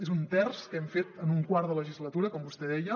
és un terç que hem fet en un quart de legislatura com vostè deia